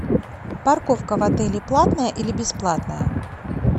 парковка в отеле платная или бесплатная